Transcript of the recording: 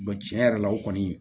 tiɲɛ yɛrɛ la o kɔni